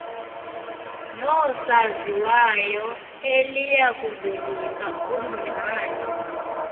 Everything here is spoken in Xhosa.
noosaziwayo eliyakuvelisa ubungcali